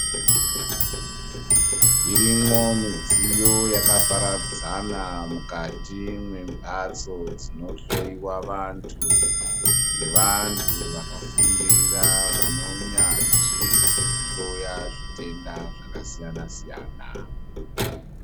Zvirimwo mudziyo yakaparadzana mukati mwemhatso dzinohloiwa vantu ngevantu vakafundira vane unyanzvi hwekuhloya zvitenda zvakasiyana siyana.